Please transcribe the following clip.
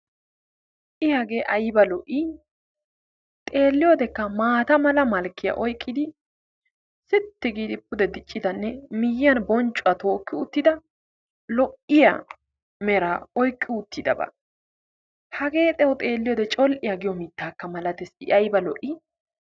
i hagee aybba lo'ii? xeeliyodekka maata malkkiya oyqqidi siiti giidi pude diccidanne lo'iya ayffiya oqqidi hagee tawu col'iya mitaa milatees.